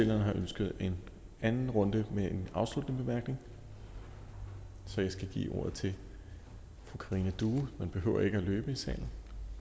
har ønsket en anden runde med en afsluttende bemærkning så jeg giver ordet til fru karina due man behøver ikke at løbe i salen